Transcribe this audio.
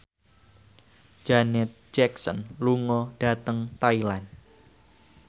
Janet Jackson lunga dhateng Thailand